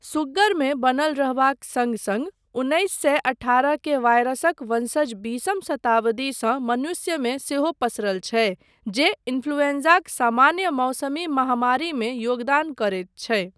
सुग्गरमे बनल रहबाक सङ्ग सङ्ग उन्नैस सए अठारह के वायरसक वंशज बीसम शताब्दीसँ मनुष्यमे सेहो पसरल छै, जे इन्फ्लूएन्जाक सामान्य मौसमी महामारीमे योगदान करैत छै।